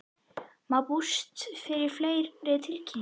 Má búast við fleiri tilkynningum?